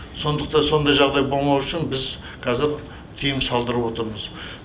сондықтан сондай жағдай болмау үшін біз қазір тыйым салдырып отырмыз